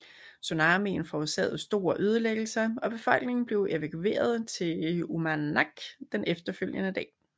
Tsunamien forårsagede store ødelæggelser og befolkningen blev evakueret til Uummannaq den efterfølgende dag